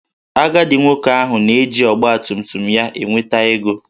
Agadi nwoke ahụ na-eji ọgbatumtum ya enweta ego